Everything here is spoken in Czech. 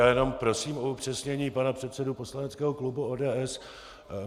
Já jenom prosím o upřesnění pana předsedu poslaneckého klubu ODS.